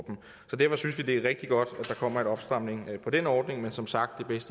det er rigtig godt at der kommer en opstramning af den ordning men som sagt ville